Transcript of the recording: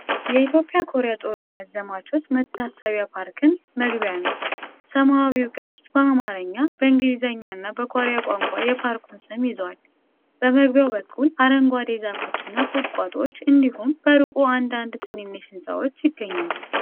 የኢትዮጵያ ኮሪያ ጦርነት ዘማቾች መታሰቢያ ፓርክን መግቢያ ነው። ሰማያዊው ቅስት በአማርኛ፣ በእንግሊዝኛና በኮሪያ ቋንቋ የፓርኩን ስም ይዟል። በመግቢያው በኩል አረንጓዴ ዛፎችና ቁጥቋጦዎች እንዲሁም በሩቁ አንዳንድ ትንንሽ ሕንፃዎች ይገኛሉ።